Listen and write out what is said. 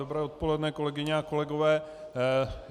Dobré odpoledne, kolegyně a kolegové.